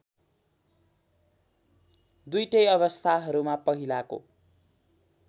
दुईटै अवस्थाहरूमा पहिलाको